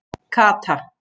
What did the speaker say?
Kata